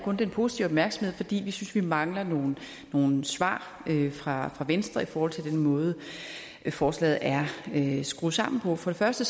med positiv opmærksomhed fordi vi synes vi mangler nogle nogle svar fra venstre i forhold til den måde forslaget er skruet sammen på for det første